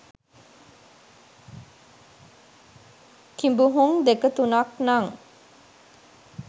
කිඹුහුං දෙක තුනක් නං.